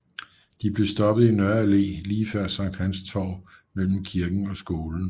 De blev stoppet i Nørre Allé lige før Sankt Hans Torv mellem kirken og skolen